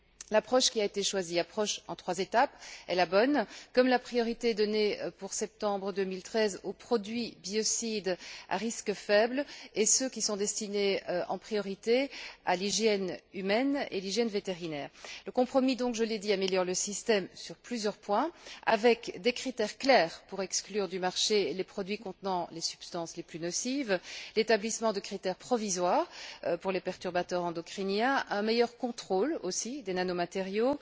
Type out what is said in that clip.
L'approche qui a été choisie approche en trois étapes est la bonne, comme la priorité donnée pour septembre 2013 aux produits biocides à risques faibles et à ceux qui sont destinés en priorité à l'hygiène humaine et à l'hygiène vétérinaire. Le compromis, comme je l'ai dit, améliore donc le système sur plusieurs points des critères clairs pour exclure du marché les produits contenant les substances les plus nocives, l'établissement de critères provisoires pour les perturbateurs endocriniens, un meilleur contrôle aussi des nanomatériaux,